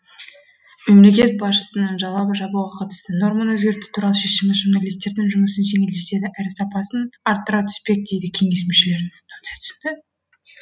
мемлекет басшысының жала жабуға қатысты норманы өзгерту туралы шешімі журналистердің жұмысын жеңілдетеді әрі сапасын арттыра түспек дейді кеңес мүшелері